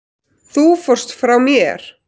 Þú fórst frá mér.